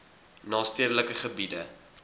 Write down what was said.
na stedelike gebiede